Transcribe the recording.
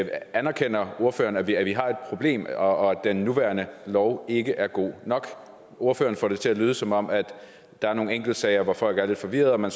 anerkender ordføreren at vi har et problem og at den nuværende lov ikke er god nok ordføreren får det til at lyde som om der er nogle enkeltsager hvor folk er lidt forvirrede og at man